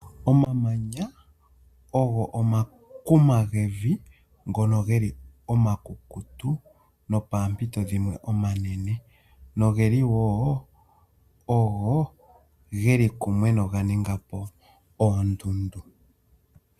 Omamanya ogo omakuma gevi ngono ge li omakukutu nopampito dhimwe omanene, noge li woo ogo geli kumwe noganinga po oondundu.